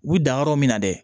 U bi dan yɔrɔ min na dɛ